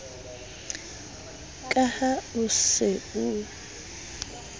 ka ha o se o